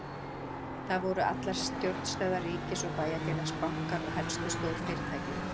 Þar voru allar stjórnstöðvar ríkis og bæjarfélags, bankar og helstu stórfyrirtæki.